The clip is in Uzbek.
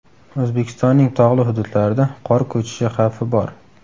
O‘zbekistonning tog‘li hududlarida qor ko‘chishi xavfi bor .